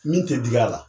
Min tɛ dig'a la